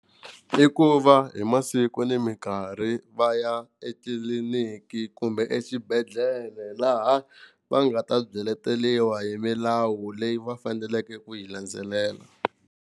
I va hi masiku ni mikarhi va ya etliliniki kumbe exibedhlele laha va nga ta byeleteriwa hi milawu leyi va faneleke ku yi landzelela.